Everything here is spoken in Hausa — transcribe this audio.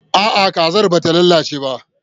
A'a, kazar ba ta lalace ba.